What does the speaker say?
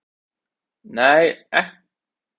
"""nei, hugsa ekki um hann!"""